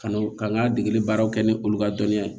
Ka n'an ka degeli baaraw kɛ ni olu ka dɔnniya ye